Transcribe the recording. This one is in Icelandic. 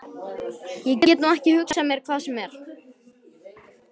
Ég get nú ekki hugsað mér hvað sem er.